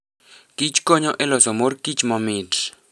kichkonyo e loso mor kich mamit.